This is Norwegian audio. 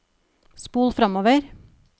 spol framover